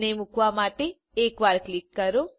તેને મૂકવા માટે એક વાર ક્લિક કરો